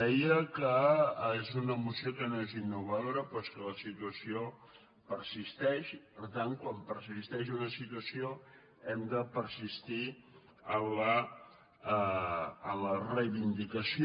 deia que és una moció que no és innovado·ra però és que la situació persisteix i per tant quan persisteix una situació hem de persistir en la reivin·dicació